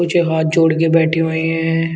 कुछ हाथ जोड़कर बैठी हुई है।